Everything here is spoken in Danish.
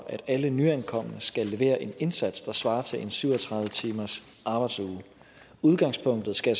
at alle nyankomne skal levere en indsats der svarer til en syv og tredive timers arbejdsuge udgangspunktet skal